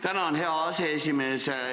Tänan, hea aseesimees!